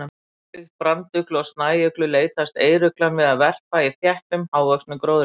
Ólíkt branduglu og snæuglu leitast eyruglan við að verpa í þéttum, hávöxnum gróðri.